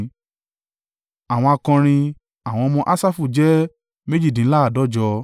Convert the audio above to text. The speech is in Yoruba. Àwọn akọrin: àwọn ọmọ Asafu jẹ́ méjìdínláàádọ́jọ (148).